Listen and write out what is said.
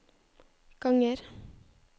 ganger